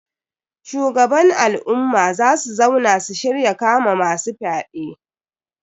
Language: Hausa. Shugaban al'umma za su zauna su shirya kama masu fyaɗe.